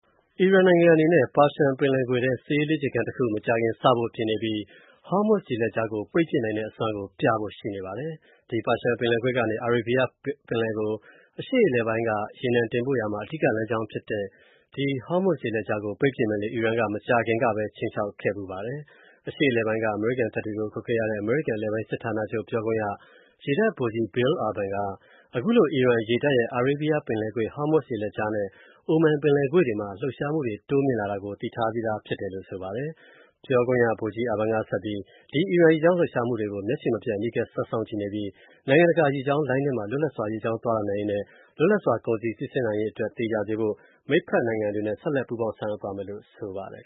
အီရန်နိုင်ငံအနေနဲ့ ပါရှန်ပင်လယ်ကွေ့ထဲ စစ်ရေးလေ့ကျင့်ခန်းတစ်ခု၊ မကြာခင် စဖို့ ပြင်ဆင်နေပြီး၊ Hormuz ရေလက်ကြားကို ပိတ်ပစ်နိုင်တဲ့ အစွမ်းကို ပြဖို့ ရှိနေပါတယ်။ ဒီပါရှန်ပင်လယ်ကွေ့ကနေ အာရေးဘီးယားပင်ကို၊ အရှေ.အလယ်ပိုင်းက ရေနံတင်ပို့ရာမှာ အဓိက လမ်းကြောင်းဖြစ်တဲ့၊ ဒီ Hormuz ရေလက်ကြားကို ပိတ်ပစ်မယ်လို့ အီရန်က မကြာခင်ကပဲ ခြိမ်းခြောက်ခဲ့ပါတယ်။ အရှေ.အလယ်ပိုင်းက အမေရိကန်တပ်တွေကို ကွပ်ကဲရတဲ့ အမေရိကန်အလယ်ပိုင်းစစ်ဌာနချုပ် ပြောခွင့်ရ ရေတပ် ဗိုလ်ကြီး Bill Urban က အခုလို အီရန်ရေတပ်ရဲ့ အာရေးဘီယားပင်လယ်ကွေ့၊ Hormuz ရေလက်ကြားနဲ့ Oman ပင်လယ်ကွေ့တွေမှာ လှုပ်ရှားမှုတိုးမြှင့်လာတာကို သိထားပြီးဖြစ်တယ်လို့ ဆိုပါတယ်။ ပြောခွင့်ရ ဗိုလ်ကြီး Urban က ဆက်ပြီး၊ ဒီအီရန်ရေကြောင်းလှုပ်ရှားမှုတွေကို မျက်ခြေမပြတ် အနီးကပ် ဆက်စောင့်ကြည့်နေပြီး၊ နိုင်ငံတကာရေကြောင်းလိုင်းထဲမှာ လွတ်လပ်စွာ ရေကြောင်းသွားလာနိုင်ရေးနဲ့ လွတ်လပ်စွာကုန်စည်စီဆင်းနိုင်ရေးတွေ သေချာစေဖို့ မိတ်ဖက်နိုင်ငံတွေနဲ့ ဆက် ပူးပေါင်းဆောင်ရွက်သွားမယ်လို့ ဆိုပါတယ်